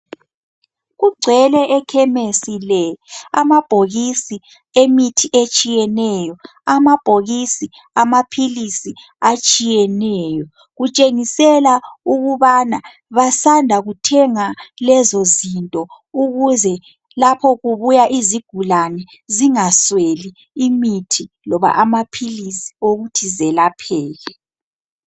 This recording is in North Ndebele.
Kugcwele ekhemesi le. Amabhokisi emithi etshiyeneyo. Amabhokisi amaphilisi atshiyeneyo. Kutshengisela ukubana basanda kuthenga lezo zinto ukuze lapho kubuya izigulane, zingasweli imithi loba amaphilisi okuthi zelapheke.